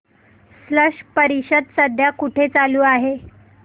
स्लश परिषद सध्या कुठे चालू आहे